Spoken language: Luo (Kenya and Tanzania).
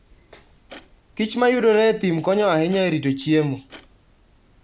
kich ma yudore e thim konyo ahinya e rito chiemo.